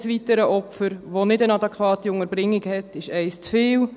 Jedes weitere Opfer, das keine adäquate Unterbringung erhält, ist eines zu viel.